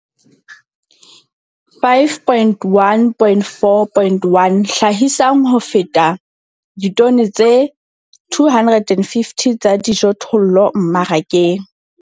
5.1.4.1 Hlahisang ho feta ditone tse 250 tsa dijothollo mmarakeng.